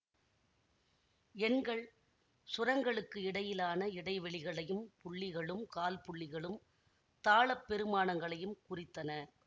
எண்கள் சுரங்களுக்கு இடையிலான இடைவெளிகளையும் புள்ளிகளும் கால்புள்ளிகளும் தாளப் பெறுமானங்களையும் குறித்தன